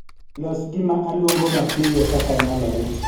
Los gima aluongo mapiyo kaka nyalore